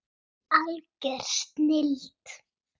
Algjör snilld.